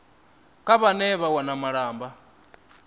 kha vhane vha wana malamba